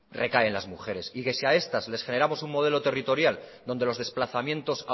recaen en las mujeres y que si a estas les generamos un modelo territorial donde los desplazamientos